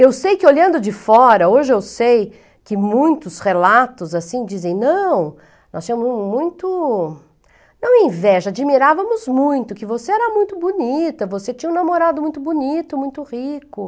Eu sei que olhando de fora, hoje eu sei que muitos relatos assim dizem, não, nós tínhamos muito, não inveja, admirávamos muito que você era muito bonita, você tinha um namorado muito bonito, muito rico.